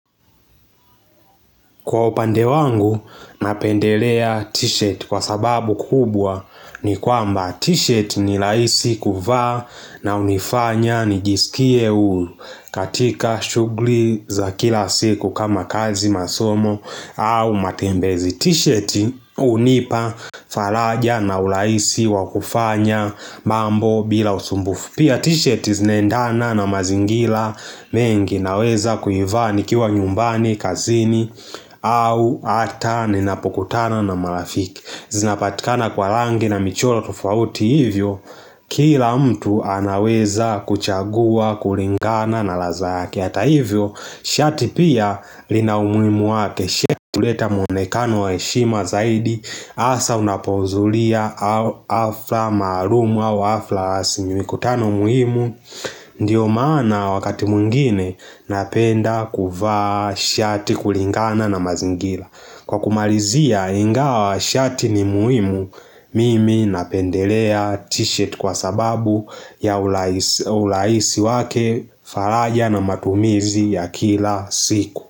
Kwa upande wangu napendelea t-shirt kwa sababu kubwa ni kwamba t-shirt ni rahisi kuvaa na hunifanya nijisikie huru katika shughli za kila siku kama kazi masomo au matembezi t-shirt hunipa faraja na urahisi wakufanya mambo bila usumbufu Pia t-shirt zinaendana na mazingira mengi naweza kuivaa nikiwa nyumbani, kazini, au ata ninapokutana na marafiki zinapatikana kwa rangi na michoro tofauti hivyo, kila mtu anaweza kuchagua, kulingana na laza yake Hata hivyo shati pia lina umuhimu wake shati huleta muonekano wa heshima zaidi hasa unapozulia hafla maalumu au hafla asi mikutano muhimu Ndiyo maana wakati mwingine napenda kuvaa shati kulingana na mazingira Kwa kumalizia ingawa shati ni muhimu Mimi napendelea t-shirt kwa sababu ya urahisi wake faraja na matumizi ya kila siku.